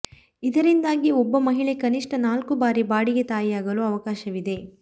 ಇದರಿಂದಾಗಿ ಒಬ್ಬ ಮಹಿಳೆ ಕನಿಷ್ಠ ನಾಲ್ಕು ಬಾರಿ ಬಾಡಿಗೆ ತಾಯಿಯಾಗಲು ಅವಕಾಶವಿದೆ